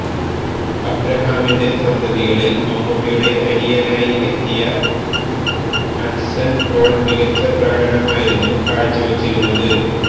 അബ്രഹാമിന്റെ സന്തതികളില് മമ്മൂട്ടിയുടെ അനിയനായി എത്തിയ അന്സന് പോള് മികച്ച പ്രകടനമായിരുന്നു കാഴ്ച വെച്ചിരുന്നത്